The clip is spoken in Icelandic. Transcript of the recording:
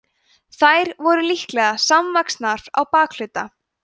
þær voru líklega samvaxnar á bakhluta